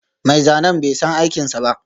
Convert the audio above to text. Mai zanen bai san aikinsa ba